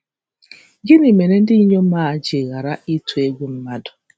Gịnị mere ndị inyom a ji ghara ịtụ egwu mmadụ?